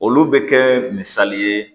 Olu bɛ kɛ misali ye